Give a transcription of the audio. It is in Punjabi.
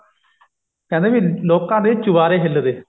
ਕਹਿੰਦੇ ਵੀ ਲੋਕਾਂ ਦੇ ਚੁਬਾਰੇ ਹਿੱਲਦੇ